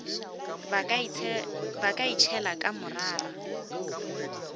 ba ka itšhela ka morara